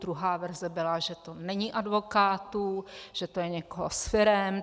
Druhá verze byla, že to není advokátů, že to je někoho z firem.